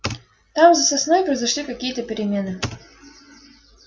там за сосной произошли какие то перемены